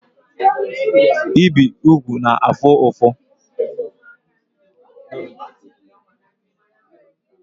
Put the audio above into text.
Ibi ugwu na-afu ufu